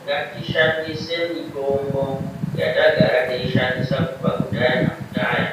Ngatishandise mitombo yatagara teishandisa kubva kudhaya nakudhaya